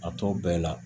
A tɔ bɛɛ la